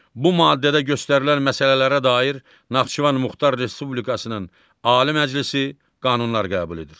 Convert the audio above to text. Bu maddədə göstərilən məsələlərə dair Naxçıvan Muxtar Respublikasının Ali Məclisi qanunlar qəbul edir.